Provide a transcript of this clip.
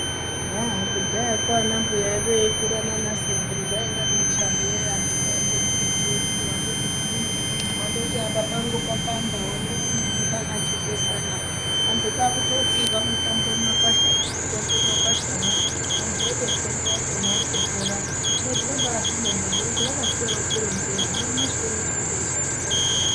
Haa kudhayakwo ana mbuya edu eikura nana sekuru zvainge nemushando weyi antu kwayiye kutoziya kuti pandoti twii wandoti apa pangu popanda wanyati chifesani antu kwakutotsirwa mitombo mumakwashamo hino tinobazvibonga ngekuti vakasiya vatironzera nanyamashi uno tinondoishandisa mitomboyo.